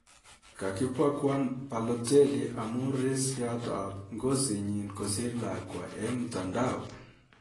Kakibaguan balloteli amu rsngiat ab ngozitnyii kasiir lakwaa eng mitandao